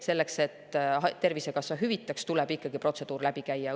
Selleks et Tervisekassa hüvitaks, tuleb ikkagi protseduur läbi käia.